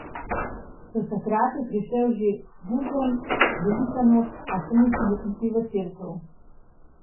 Do takrat je prišel že vuzem, velika noč, a še ni smel iti v cerkev.